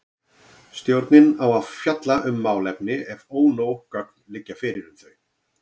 Stjórnin á að fjalla um málefni ef ónóg gögn liggja fyrir um þau.